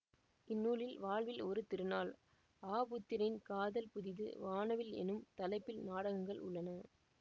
இந்நூலில் வாழ்வில் ஒரு திருநாள் ஆபுத்திரன் காதல் புதிது வானவில் எனும் தலைப்பில் நாடகங்கள் உள்ளன